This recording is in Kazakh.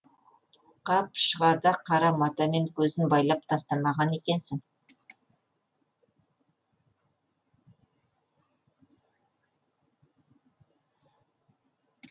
қап шығарда қара матамен көзін байлап тастамаған екенсің